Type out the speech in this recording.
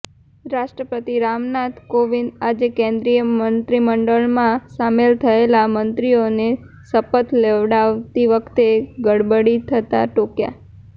રાષ્ટ્રપતિ રામનાથ કોવિંદે આજે કેન્દ્રીય મંત્રીમંડળમાં સામેલ થયેલા મંત્રીઓને શપથ લેવડાવતી વખતે ગડબડી થતા ટોક્યા